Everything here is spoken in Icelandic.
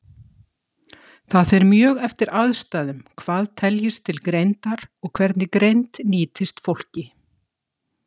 Það fer mjög eftir aðstæðum hvað teljist til greindar, og hvernig greind nýtist fólki.